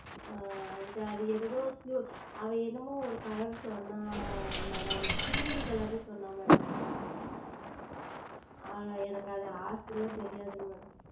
அது எதோ அவன் என்னமோ ஓர் Color சொன்னான் MadamCiment Color என்று சொன்னான் Madam எனக்கு அந்த As ல தெரியாது